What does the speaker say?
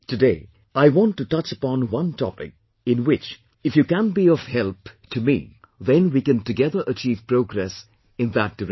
Today I want to touch upon one topic in which if you can be of help to me, then we can together achieve progress in that direction